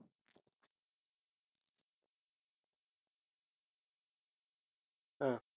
அஹ்